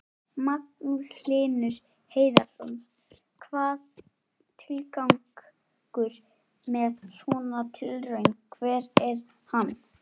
Magnús Hlynur Hreiðarsson: Hvað, tilgangur með svona tilraun, hver er hann?